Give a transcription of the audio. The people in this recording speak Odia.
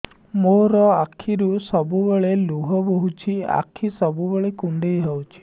ମୋର ଆଖିରୁ ସବୁବେଳେ ଲୁହ ବୋହୁଛି ଆଖି ସବୁବେଳେ କୁଣ୍ଡେଇ ହଉଚି